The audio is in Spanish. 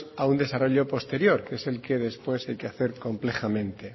a un desarrollo posterior que es el que después hay que hacer complejamente